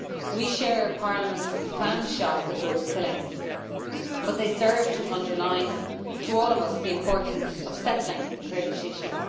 We share Parliament's profound shock at those killings but they serve to underline to all of us the importance of settling the Kurdish issue